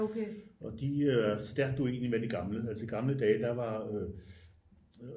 Og de er stærkt uenige med de gamle altså i gamle dage der var øh